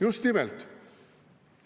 Just nimelt!